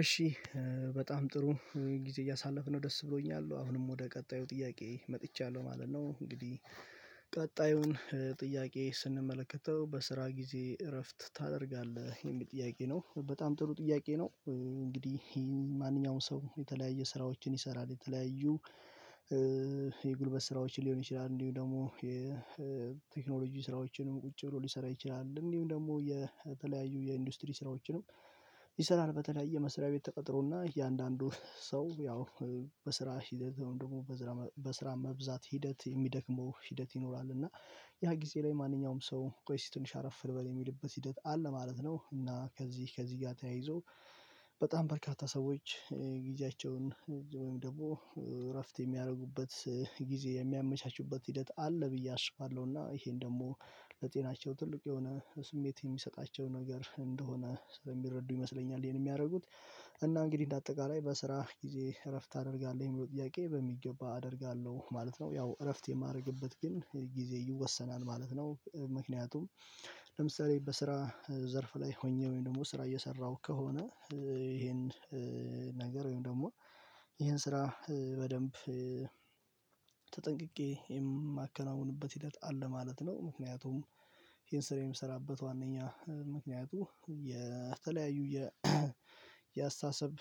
እሺ በጣም ጥሩ ጊዜ እያሳለፍን ነው ደስ ብሎኛል አሁንም ወደ ቀጣዩ ጥያቄ መጥቻለሁ ማለት ነው። እንግዲህ ቀጣዩን ጥያቄ ስንመለከተው በስራ ጊዜ እረፍት ታደርጋለህ የሚል ጥያቄ ነው። በጣም ጥሩ ጥያቄ ነው እንግዲህ ማንኛውም ሰው የተለያየ ስራዎችን ይሰራል የተለያዩ የጉልበት ስራዎችን ሊሆን ይችላል። እንዲሁ ደግሞ የቴክኖሎጂ ስራዎችንም ቁጭ ብሎ ሊሰራ ይችላል። እንዲሁም ደግሞ የተለያዩ የኢንዱስትሪ ስራዎችንም ይሰራል። በተለያየ መስሪያ ቤት ተቀጥሮና እያንዳንዱ ሰው ያው በስራ ሂደት ደግሞ በስራ መብዛት ሂደት የሚደክመው ሂደት ይኖራል። እና ያ ጊዜ ላይ ማንኛውም ሰው ቆይ ሲት ትንሽ አረፍ ልበል የሚልበት ሂደት አለ ማለት ነው። እና ከዚህ ከዚህ ጋር ተያይዞ በጣም በርካታ ሰዎች ጊዜያቸውን ወይም ደግሞ እረፍት የሚያደርጉበት ጊዜ የሚያመቻቹበት ሂደት አለ ብዬ አስባለሁ። እና ይሄን ደግሞ ለጤናቸው ትልቅ የሆነ ስሜት የሚሰጣቸው ነገር እንደሆነ ስለሚረዱ ይመስለኛል። ይሄን የሚያደርጉት እና እንግዲህ እንደ አጠቃላይ በስራ ጊዜ እረፍት አደርጋለሁ የሚለው ጥያቄ በሚገባ አደርጋለሁ ማለት ነው። ያው እረፍት የማደርግበት ግን ጊዜ ይወሰናል ማለት ነው። ምክንያቱም ለምሳሌ በስራ ዘርፍ ላይ ሆኜ ወይም ደግሞ ስራ እየሰራሁ ከሆነ። ይሄን ነገር ወይም ደግሞ ይሄን ስራ በደንብ ተጠንቅቄ የማከናውንበት ሂደት አለ ማለት ነው። ምክንያቱም ይሄን ስራ የምሰራበት ዋናኛ ምክንያቱ የተለያዩ የአስተሳሰብ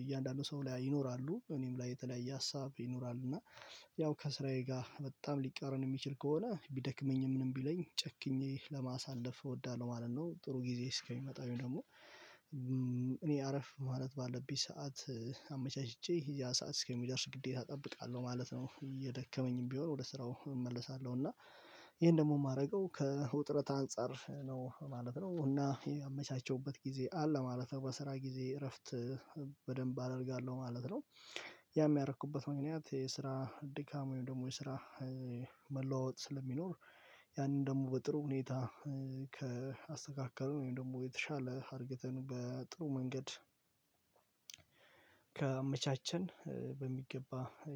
እያንዳንዱ ሰው ላይ ይኖራሉ እኔም ላይ የተለያየ ሀሳብ ይኖራል። እና ያው ከስራዬ ጋር በጣም ሊቃረን የሚችል ከሆነ ቢደክመኝም ምንም ቢለኝ ጨክኜ ለማሳለፍ እወዳለሁ ማለት ነው። ጥሩ ጊዜ እስከሚመጣው ደግሞ እኔ አረፍ ማለት ባለብኝ ሰዓት አመቻችቼ ያ ሰዓት እስከሚደርስ ግዴታ እጠብቃለሁ ማለት ነው። እየደከመኝም ቢሆን ወደ ስራው እመለሳለሁ እና ይሄን ደግሞ የማደርገው ከውጥረት አንፃር ነው ማለት ነው። እና ያመቻቸውበት ጊዜ አለ ማለት ነው። በስራ ጊዜ እረፍት በደንብ አደርጋለሁ ማለት ነው። ያ የሚያረኩበት ምክንያት የስራ ድካም ወይም ደግሞ የስራ መለዋወጥ ስለሚኖር ያንን ደግሞ በጥሩ ሁኔታ ከአስተካከሉ ወይም ደግሞ የተሻለ አድርግተን በጥሩ መንገድ ከመቻቸን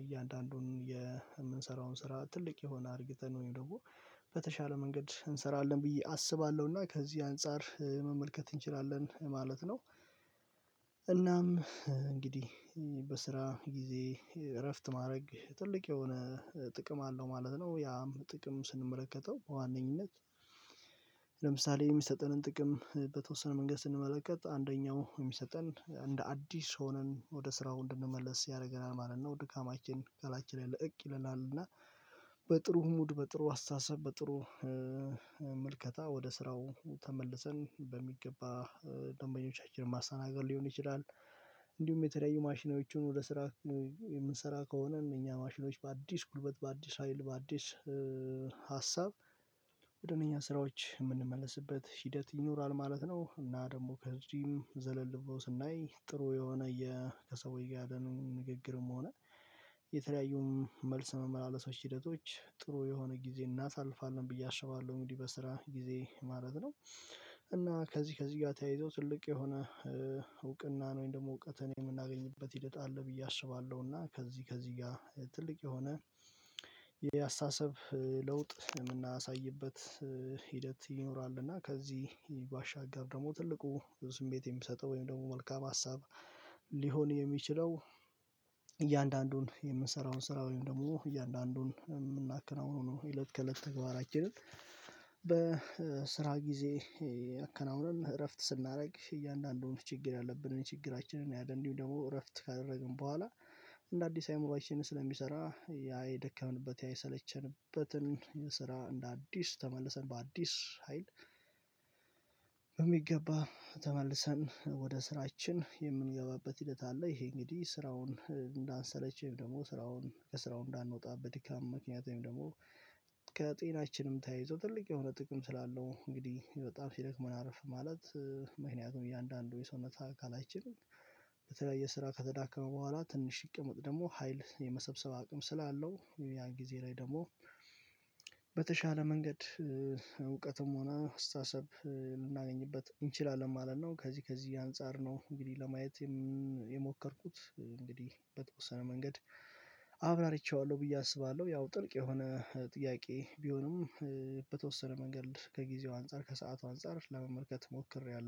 እያንዳንዱን የምንሰራውን ስራ ትልቅ የሆነ አርግተን ነው ወይም ደግሞ በተሻለ መንገድ እንሰራለን ብዬ አስባለሁ። እና ከዚህ አንፃር መመልከት እንችላለን ማለት ነው። እንግዲህ በስራ ጊዜ እረፍት ማድረግ ትልቅ የሆነ ጥቅም አለው ማለት ነው። ያም ጥቅም ስንመለከተው በዋነኝነት ለምሳሌ የሚሰጠንን ጥቅም በተወሰነ መንገድ ስንመለከት አንደኛው የሚሰጠን እንደ አዲስ ሆነን ወደ ስራው እንድንመለስ ያደርገናል ማለት ነው። ድካማችን ከላያችን ላይ ለቀቅ ይለናል ይለናል። እና በጥሩ ሙድ በጥሩ አስተሳሰብ በጥሩ ምልከታ ወደ ስራው ተመልሰን በሚገባ ደንበኞቻችንን ማሰናገድ ሊሆን ይችላል። እንዲሁም የተለያዩ ማሽናዎችን ወደ ስራ የምንሰራ ከሆነ እኛ ማሽኖች በአዲስ ጉልበት በአዲስ ሀይል በአዲስ ሀሳብ መደበኛ ስራዎች የምንመለስበት ሂደት ይኖራል ማለት ነው። እና ደግሞ ከዚህም ዘለል ብሎ ስናይ ጥሩ የሆነ የ ከሰውዬ ጋር ነው ንግግርም ሆነ የተለያዩም መልስ መመላለስ ሂደቶች ጥሩ የሆነ ጊዜ እናሳልፋለን ብዬ አሽባለሁ። እንግዲህ በስራ ጊዜ ማለት ነው። እና ከዚህ ከዚህ ጋር ተያይዞ ትልቅ የሆነ እውቅና ነው ወይም ደግሞ እውቀትን የምናገኝበት ሂደት ብዬ አስባለሁ። እና ከዚህ ከዚህ ጋር ትልቅ የሆነ የአስተሳሰብ ለውጥ የምናሳይበት ሂደት ይኖራል። እና ከዚህ ባሻገር ደግሞ ትልቁ ስሜት የምሰጠው ወይም ደግሞ መልካም ሀሳብ ሊሆን የሚችለው እያንዳንዱን የምንሰራውን ስራ ወይም ደግሞ እያንዳንዱን የምናከናውነውን ነው የለት ከለት ተግባራችንን በስራ ጊዜ አከናውናል እረፍት ስናደርግ እያንዳንዱን ችግር ያለብንን ችግራችንን እንዲሁም ደግሞ እረፍት ካደረግን በኋላ እንደ አዲስ አይምሮአችን ስለሚሰራ ያ የደከምንበት ያ የሰለቸንበትን ስራ እንደ አዲስ ተመልሰን በአዲስ ሀይል በሚገባ ተመልሰን ወደ ስራችን የምንገባበት ሂደት አለ። ይሄ እንግዲህ ስራውን እንዳንሰለችም ደግሞ ስራውን ከስራው እንዳንወጣ በድካም ምክንያት ወይም ደግሞ ተያይዞ ትልቅ የሆነ ጥቅም ስላለው። እንግዲህ በጣም ሲደክሙን አርፍ ማለት ምክንያቱም እያንዳንዱ የሰውነት አካላችልም በተለያየ ስራ ከተዳከመ በኋላ ትንሽ ይቅመጥ ደግሞ ሀይል የመሰብሰብ አቅም ስላለው ያን ጊዜ ላይ ደግሞ በተሻለ መንገድ እውቀትም ሆነ አስተሳሰብ ልናገኝበት እንችላለን ማለት ነው። ከዚህ ከዚህ አንፃር ነው። እንግዲህ ለማየት የሞከርኩት እንግዲህ በተወሰነ መንገድ አብራርቼዋለሁ ብዬ አስባለሁ። ያው ጥልቅ የሆነ ጥያቄ ቢሆንም በተወሰነ መንገድ ከጊዜው አንፃር ከሰአቱ አንፃር ለመመልከት ሞክሬያለሁ